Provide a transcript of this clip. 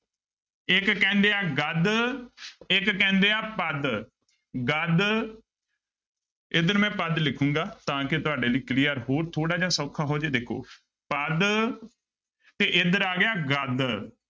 ਇੱਕ ਕਹਿੰਦੇ ਆ ਗਦ ਇੱਕ ਕਹਿੰਦੇ ਆ ਪਦ, ਗਦ ਇੱਧਰ ਮੈਂ ਪਦ ਲਿਖਾਂਗਾ ਤਾਂ ਕਿ ਤੁਹਾਡੇ ਲਈ clear ਹੋਰ ਥੋੜ੍ਹਾ ਜਿਹਾ ਸੌਖਾ ਹੋ ਜਾਏ ਦੇਖੋ ਪਦ ਤੇ ਇੱਧਰ ਆ ਗਿਆ ਗਦ।